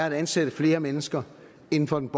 at ansætte flere mennesker inden for den